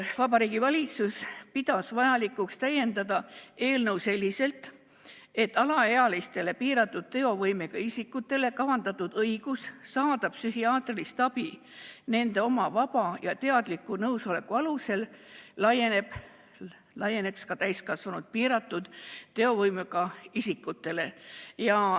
Vabariigi Valitsus pidas vajalikuks täiendada eelnõu selliselt, et alaealistele piiratud teovõimega isikutele antav õigus saada psühhiaatrilist abi nende oma vaba ja teadliku nõusoleku alusel laieneks ka täiskasvanud piiratud teovõimega isikutele.